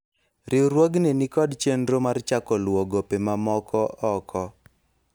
riwruogni nikod chenro mar chako luwo gope ma omoko oko